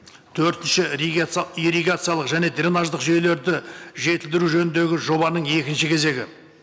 төртінші ирригациялық және дренаждық жүйелерді жетілдіру жөніндегі жобаның екінші кезегі